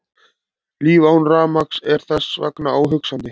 Líf án rafmagns er þess vegna óhugsandi.